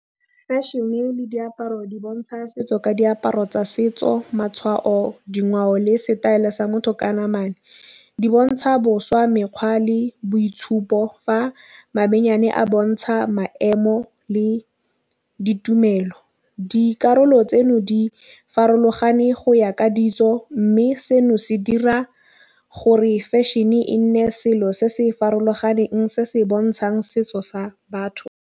Fashion-e le diaparo di bontšha setso ka diaparo tsa setso matšhwao dingwao le setaelo sa motho ka namana. Di bontšha boswa mekgwa le boitšhupo fa a bontšha maemo le ditumelo. Dikarolo tseno di farologane go ya ka ditso mme seno se dira gore fashion e nne selo se se farologaneng se se bontšhang setso sa batho.